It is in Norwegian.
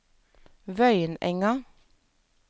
Vøyenenga